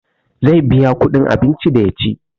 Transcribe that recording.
Zai biya kuɗin abinci da ya ci